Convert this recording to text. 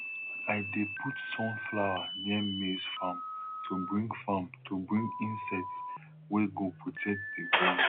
i dey put sunflower near maize farm to bring farm to bring insects wey go protect the ground